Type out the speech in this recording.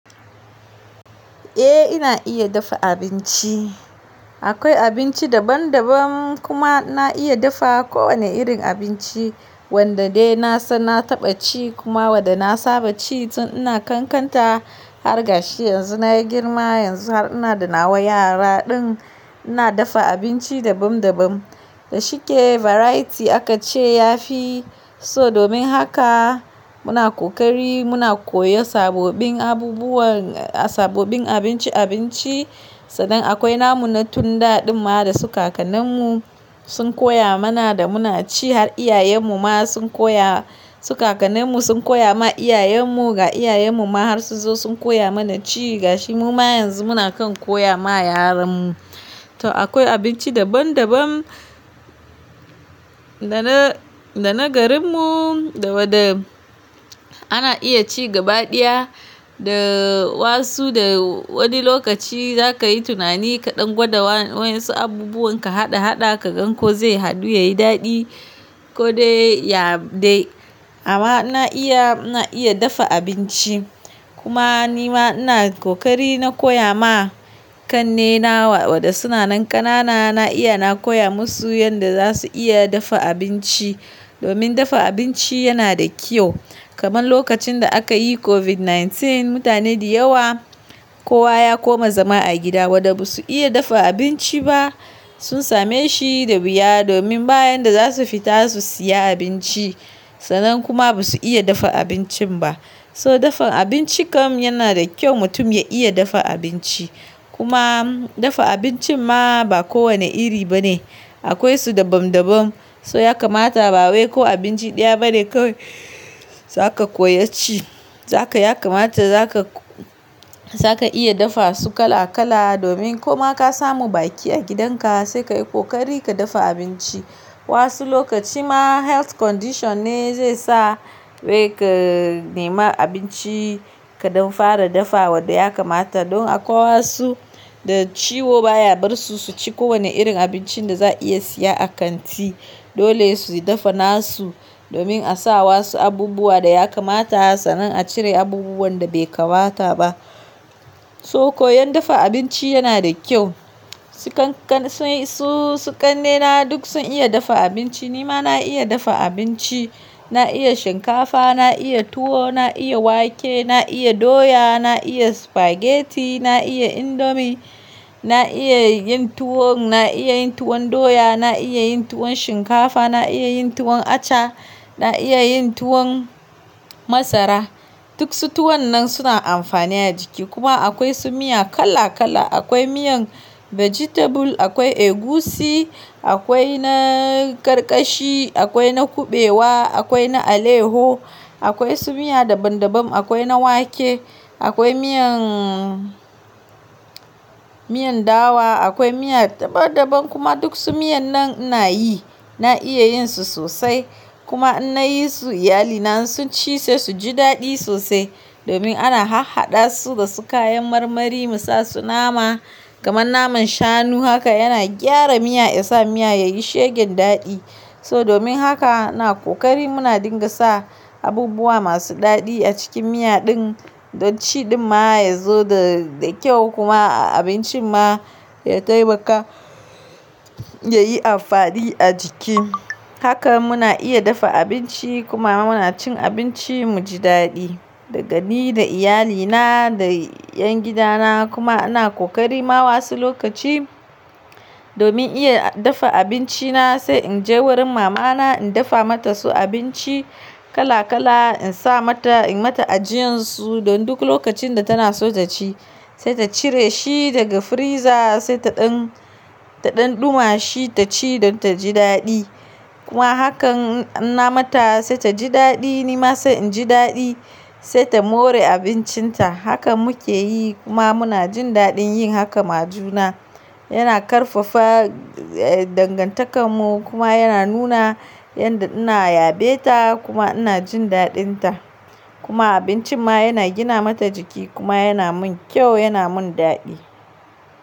Eh ina iya dafa abinci. Akwai abinci daban-daban kuma na iya dafa kowane irin abinci wanda dai na san na taɓa ci kuma wanda na saba ci tun ina ƙanƙanta har gashi yanzu na yi girma yanzu har ina da nawa yara din. Ina dafa abinci dabam dabam. Da shike variety aka ce yafi so domin haka muna ƙoƙari muna koyan sabbin abubuwan, sabbin abinci abinci, sannan akwai namu na tun da ɗin ma da su kakannin mu sun koya mana da muna ci har iyayen mu ma sun koya, su kakannin mu sun koya ma iyayen mu ga iyayen mu ma har sun zo sun koya mana ci gashi mu ma yanzu muna kan koya ma yaran mu. To akwai abinci daban-daban da na, da na garin mu, da waɗa ana iya ci gabaɗiya da wasu da wani lokaci za ka yi tunani kaɗan gwada wa, wayan su abubuwan ka haɗa haɗa ka gan ko zai hadu ya yi daɗi ko dai ya dai. Amma na iya, na iya dafa abinci. Kuma nima ina ƙoƙari na koya ma ƙannena waɗanda suna nan ƙanana na iya na koya masu yanda za su iya dafa abinci. Domin dafa abinci yana da kyau. Kaman lokacin da aka yi COVID-19, mutane da yawa kowa ya koma zama a gida waɗanda ba su iya dafa abinci ba sun same shi da wuya domin bayan da za su fita su siya abinci sannan kuma ba su iya dafa abincin ba. So dafan abinci kam yana da kyau mutum ya iya dafa abinci. Kuma dafa abincin ma ba kowane iri ba ne. Akwai su daban-daban. So ya kamata ba wai ko abinci ɗaya bane kawai za ka koya ci. Za ka, ya kamata za ka, za ka iya dafa su kala kala domin ko ma ka samu baki a gidan ka sai ka yi ƙoƙari ka dafa abinci. Wasu lokaci ma health condition ne zai sa wai ka nema abinci kaɗan fara dafa waɗai ya kamata don akwai wasu da ciwo baya bar su su ci kowane irin abincin da za a iya siya a kanti. Dole su dafa na su domin a sa wa su abubuwa da ya kamata sannan a cire abubuwan da bai kamata ba. So koyan dafa abinci yana da kyau. Su ƙanƙan, su, su ƙannena duk sun iya dafa abinci. Ni ma na iya dafa abinci. Na iya shinkafa, na iya tuwo, na iya wake, na iya doya, na iya spaghetti, na iya indomie, na iya yin tuwon, na iya yin tuwon doya, na iya yin tuwon shinkafa, na iya yin tuwon acha, na iya yin tuwon masara. Duk su tuwon nan suna amfani a jiki kuma akwai su miya kala kala. Akwai miyan vegetable, akwai egusi, akwai na karkashi, akwai na kuɓewa, akwai na aleho, akwai su miya daban-daban. Akwai na wake, akwai miyan, miyan dawa, akwai miya daban-daban kuma duk su miyan nan ina yi. Na iya yin su sosai. Kuma in nayi su iyalina sun ci sai su ji daɗi sosai. Domin ana har haɗa su da su kayan marmari mu sa su nama kaman naman shanu haka yana gyara miya ya sa miya yayi shegen daɗi. So domin haka ina ƙoƙari muna dinga sa abubuwa masu daɗi a cikin miya din don ciɗin ma ya zo da, da kyau kuma abincin ma ya taimaka ya yi amfani a jiki. Haka muna iya dafa abinci kuma muna cin abinci mu ji daɗi. Da ga ni, da iyalina, da 'yan gidana kuma ina ƙoƙari ma wasu lokaci domin iya dafa abinci na sai in je wurin mama na in dafa mata su abinci kala kala in sa mata in mata ajiyan su don duk lokacin da tana so ta ci. Sai ta cire shi daga freezer sai ta ɗan, ta ɗan ɗuma shi ta ci don ta ji daɗi. Kuma hakan in na mata sai ta ji daɗi ni ma sai in ji daɗi. Sai ta more abincin ta. Haka muke yi kuma muna jin daɗin yin haka ma juna. Yana ƙarfafa, eh, dangantakar mu kuma yana nuna yanda ina yaɓe ta kuma ina jin daɗin ta. Kuma abincin ma yana gina mata jiki kuma yana mun kyau yana mun daɗi.